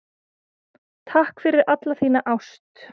Takk fyrir alla þína ást.